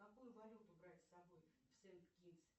какую валюту брать с собой в сент китс